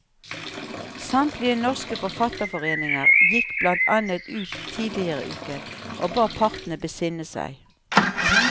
Samtlige norske forfatterforeninger gikk blant annet ut tidligere i uken og ba partene besinne seg.